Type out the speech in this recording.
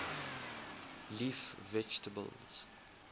leaf vegetables